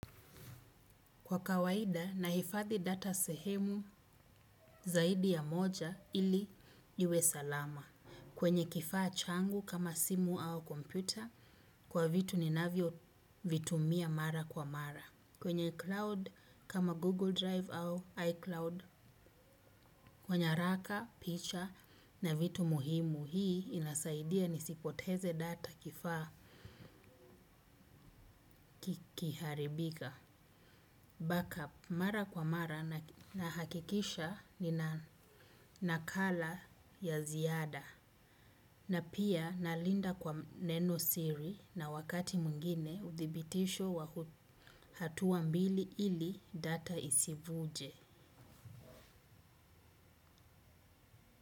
Kwa kawaida nahifadhi data sehemu zaidi ya moja ili yawe salama. Kwenye kifaa changu kama simu au kompyuta kwa vitu ni navyo vitumia mara kwa mara. Kwenye cloud kama Google Drive au iCloud kwa nyaraka, picha na vitu muhimu hii inasaidia nisipoteze data kifaa kiharibika. Backup. Mara kwa mara na hakikisha nina nakala ya ziada. Na pia nalinda kwa neno siri na wakati mwingine uthibitisho wa hatua mbili ili data isivuje.